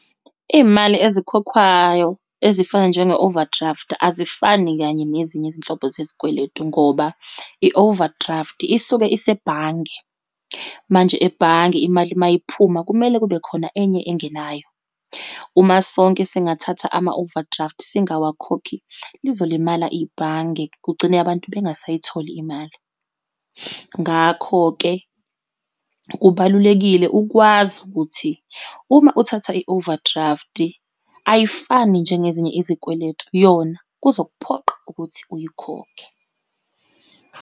Iyimali ezikhokhwayo ezifana njenge-overdraft azifani kanye nezinye izinhlobo zezikweletu ngoba, i-overdraft isuke isebhange. Manje ebhange imali uma iphuma, kumele kube khona enye engenayo. Uma sonke singathatha ama-overdraft singawakhokhi lizolimala ibhange, kugcine abantu bengasayitholi imali. Ngakho-ke kubalulekile ukwazi ukuthi uma uthatha i-overdraft ayifani njengezinye izikweletu, yona kuzokuphoqa ukuthi uyikhokhe.